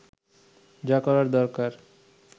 যা করার দরকার